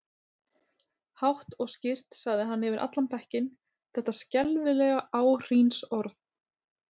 Hátt og skýrt sagði hann yfir allan bekkinn þetta skelfilega áhrínsorð